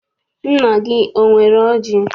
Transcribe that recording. Nna gị enwere ọjị?